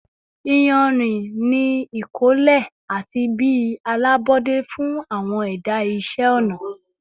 iyanrin ni ikole ati bi alabọde fun awọn ẹda iṣẹ ọna